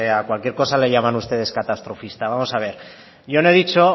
a cualquier cosa le llaman ustedes catastrofista vamos a ver yo no he dicho